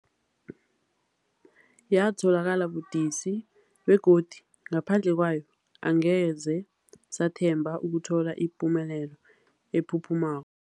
Yatholakala budisi, begodu ngaphandle kwayo angeze sathemba ukuthola ipumelelo ephuphumako.